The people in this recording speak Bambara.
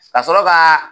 Ka sɔrɔ ka